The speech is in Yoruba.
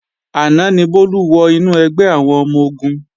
Àná ni Bólú wọ inú ẹgbẹ́ àwọn ọmọ-ogun